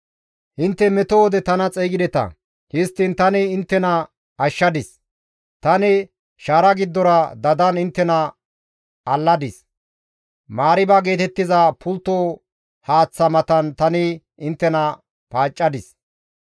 Intte meto wode tana xeygideta; histtiin tani inttena ashshadis; tani shaara giddora dadan inttena alladis; Mariiba geetettiza pultto haaththa matan tani inttena paaccadis.